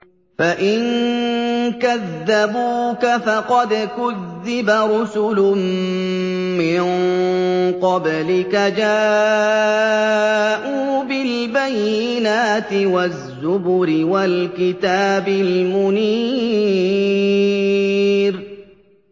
فَإِن كَذَّبُوكَ فَقَدْ كُذِّبَ رُسُلٌ مِّن قَبْلِكَ جَاءُوا بِالْبَيِّنَاتِ وَالزُّبُرِ وَالْكِتَابِ الْمُنِيرِ